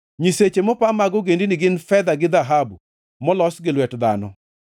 Nyiseche mopa mag ogendini gin fedha gi dhahabu, molos gi lwet dhano.